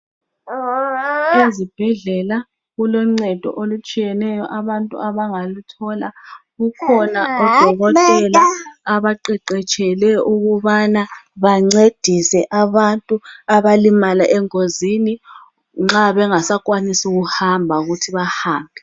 Ezibhedlela kuloncedo olutshiyeneyo abantu abangaluthola kukhona odokotela abaqeqetshele ukubana bancedise abantu abalimala engozini nxa bengasakwanisi ukuhamba ukuthi bahambe.